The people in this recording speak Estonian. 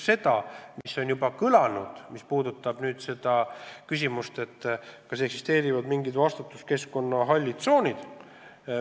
Siin on juba kõlanud küsimus, kas eksisteerivad mingid vastutuskeskkonna hallid tsoonid.